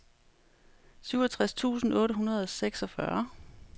syvogtres tusind otte hundrede og seksogfyrre